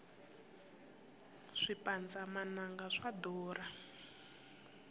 swipandza mananga swa durha